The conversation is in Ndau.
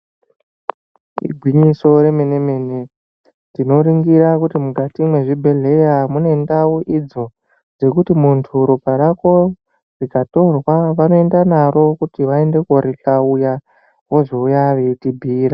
Igwinyiso remene mene, tinoringira kuti mwukati mwezvibhedhleya mune ndau idzo dzekuti muntu ropa rako rikatorwa vanoenda naro kuti vaende korihlauya vozouya veitibhuyira.